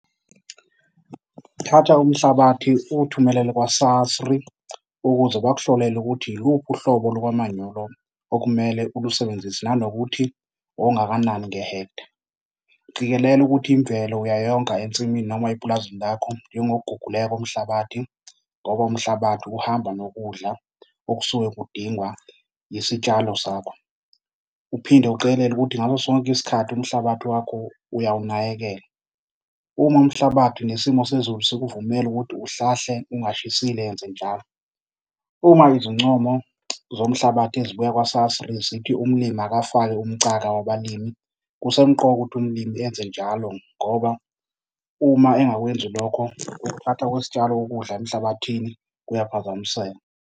Thatha umhlabathi uwuthumelele kwa-SASRI ukuze bakuhlolele ukuthi iluphi uhlobo lwamanyolo okumele ulusebenzise nanokuthi ongakanani ngehektha. Qikelela ukuthi imvelo uyayonga ensimini noma epulazini lakho njengokuguguleka komhlabathi ngoba umhlabathi uhamba nokudla okusuke kudingwa isitshalo sakho. Uphinde uqikelele ukuthi ngaso sonke isikhathi umhlabathi wakho uyawunakekela. Uma umhlabathi nesimo sezulu sikuvumela ukuthi uhlahle ungashisile, yenzenjalo. Uma izincomo zomhlabathi ezibuya kwa-SASRI zithi umlimi akafake umcaka wabalimi, kusemqoka ukuthi umlimi enze njalo ngoba uma engakwenzi lokho ukuthatha kwesitshalo ukudla emhlabathini kuyaphazamiseka.